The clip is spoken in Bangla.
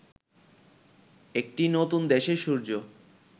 একটি নতুন দেশের সূর্য